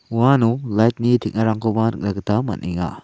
uano light-ni teng·arangkoba nikna gita man·enga.